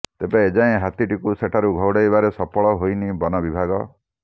ତେବେ ଏଯାଏଁ ହାତୀଟିକୁ ସେଠାରୁ ଘଉଡ଼ାଇବାରେ ସଫଳ ହୋଇନି ବନ ବିଭାଗ